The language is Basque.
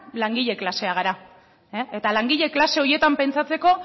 langile klasea gara eta langile klase horietan pentsatzeko